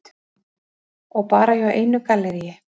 Og bara hjá einu galleríi.